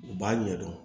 U b'a ɲɛdɔn